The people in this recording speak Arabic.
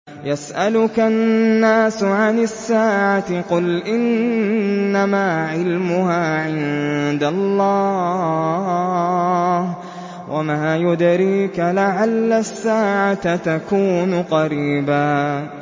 يَسْأَلُكَ النَّاسُ عَنِ السَّاعَةِ ۖ قُلْ إِنَّمَا عِلْمُهَا عِندَ اللَّهِ ۚ وَمَا يُدْرِيكَ لَعَلَّ السَّاعَةَ تَكُونُ قَرِيبًا